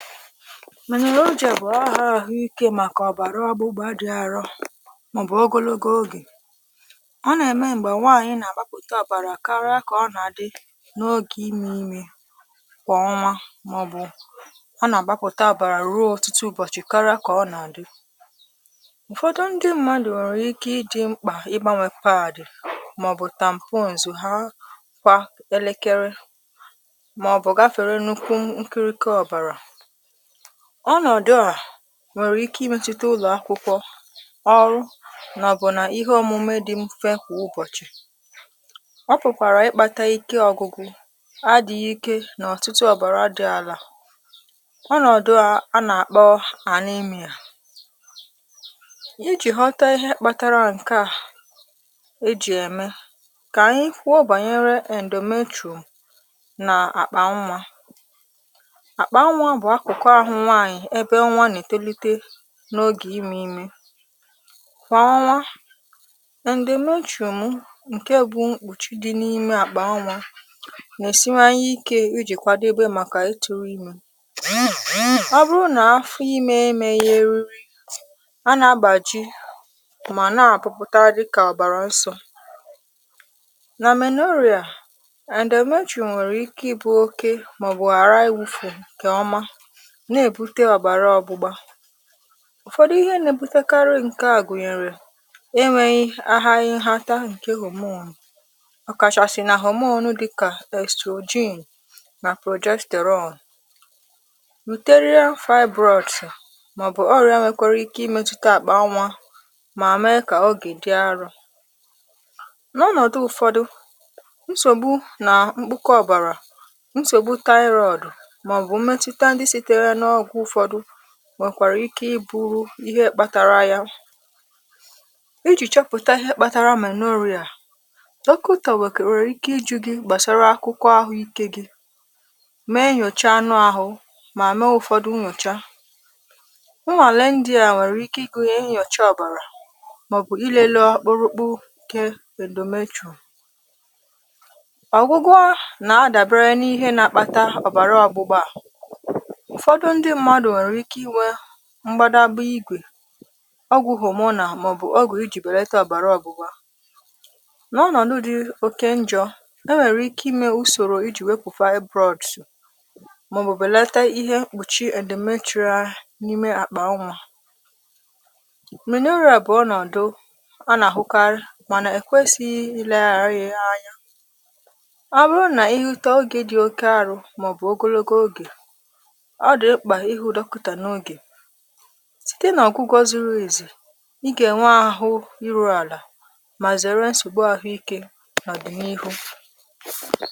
? bụ aha ahụike màkà ọ̀bàra ọgbụgba dị̇ àrọ màọ̀bụ̀ ogologo ogè ọ nà-ème m̀gbè nwaànyị nà-àgbapụta àbàrà karịa kà ọ nà-àdị n’ogè ime ime kwà ọnwa màọ̀bụ̀ ọ nà-àgbapụta àbàrà ruo ọ̀tụtụ ụbọ̀chị̀ kara kà ọ nà-àdị ụ̀fọdụ ndị mmadụ̀ nwèrè ike ịdị̇ mkpà ịgbanwè pawdì màọ̀bụ̀ tampons ha kwa elekere màọ̀bụ̀ ga fere n’ukwu nkịrịkị ọ̀bàrà ọnọdụ a nwèrè ike ịmetụta ụlọ̀akwụkwọ ọrụ nà ọ̀bụ̀nà ihe òmume dị mfe kwà ụbọ̀chị̀ ọ pụ̀kwàrà ịkpȧtȧ ike ọ̇gụ̇gụ̇ adị̀ghị ike nà ọ̀tụtụ ọ̀bàrà dị àlà onòdụ̀ a a nà-àkpọ ànimėa ijì ghọta ihe kpatara ǹkè a ejì ème kà ànyị kwụọ bànyere endometro na akpa nwa akpa nwa bụ akụkụ ahụ nwanyị ebe nwa nà-ètolite n’ogè imė imė kwà ọnwa endometro m ǹke bụ̇ mkpùchi dị n’ime àkpà nà-èsiwanye ike iji̇ kwadobe màkà ịtụrụ imė ọ bụrụ nà afọ imė emė yȧ eru anà abàjì mà nà àpụpụta dịkà ọbàrà nsọ nà menoria endometro nwèrè ike ịbụ̇ oke mà bụ àra iwu̇fè kà ọma Na-ebute ọbara ọgbụgba ụfọdụ ihe nà-èbutekarị ǹke à gụ̀nyèrè enwèghi ahaghị nhata ǹke homonu̇ ọ kàchàsị̀ nà homonu dịkà èstrojin nà protrojestael rọn uterial fibroids màọ̀bụ̀ ọrị̇ȧ nwèkwara ike ịmetụta àkpà anwà mà mèe kà ogè dị arọ̇ n’ọnọ̀dụ̀ ùfọdụ̀ nsògbu nà mkpụkọ ọ̀bàrà nsògbu taịrọọdụ ma ọ bụ mmetụta ndị sitere n’ọgwụ ụfọdụ nwèkwàrà ike ịbụrụ ihe kpatara ya ijì chọpụtà ihe kpatara menoria dọkụtà nwèkwàrà ike ịjụ gị gbàsara akwụkwọ ahụikė gị mee nyòchà anụ ahụ̇ mà mee ụ̀fọdụ nnyòchà nnwàle ndịà nwèrè ike ịgụnyė nyòchà ọ̀bàrà màọbụ̀ ilele ọ̀ kpọrọkpụ ke endometro ọ̀gwụgwọ nà-adàbere n’ihe nà-akpata ọ̀bàrà ọgbụgba ụfọdụ ndị mmadụ nwere ike ịnwe mgbadagba igwè ọgwụ̀ hụ̀mụnà màọbụ̀ ọgwụ̀ ijì bèlata òbàra ọ̀gbụ̀gba n’ọnọ̀dụ̇ dị oke njọ̇ e nwèrè ike imė usòrò ijì wepụ̀ feabrọ̇dụ̀ màọbụ̀ bèlata ihe mkpùchi endometro a di n’ime àkpà nwa menorịȧ bụ̀ ọnọ̀dụ anà-àhụkarị mànà èkwesịghị ịleghara ya anya ọbụnụ nà ịhụta ogė dị oke arụ màọbụ̀ ogologo ogè ọ dị mkpa ịhụ dọkụtà n’oge site n’ọ̀gwụ̀gwọ zuru ezu ịgà ènwe ahụ̀ ịrụ àlà mà zère nsògbu ahụ̀ ike n’àdị̀nihu